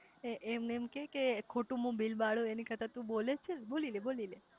એમને એમ કે કે ખોટું હું બિલબાળૂ એની કરતા તુ બોલેજ છે ને બોલીલે બોલીલે